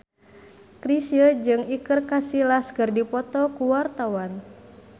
Chrisye jeung Iker Casillas keur dipoto ku wartawan